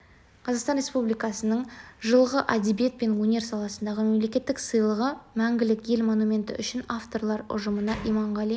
қазақстан республикасының жылғы әдебиет пен өнер саласындағы мемлекеттік сыйлығы мәңгілік ел монументі үшін авторлар ұжымына иманғали